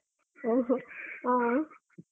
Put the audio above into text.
ಓ ಹೊ ಆ.